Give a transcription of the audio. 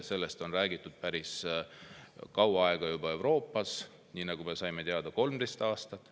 Sellest on Euroopas juba päris kaua räägitud, nagu me teada saime, 13 aastat.